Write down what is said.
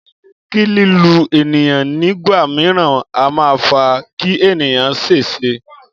Kílù ènìyàn nígbà míràn a ma fa kí ènìyàn ṣèṣe